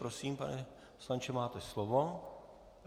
Prosím, pane poslanče, máte slovo.